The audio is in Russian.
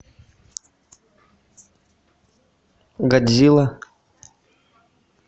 годзилла